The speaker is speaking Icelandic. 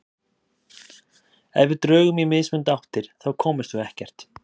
Ef við drögum í mismunandi áttir þá komumst við ekkert.